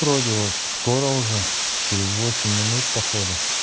троде скоро уже через восемь минут по ходу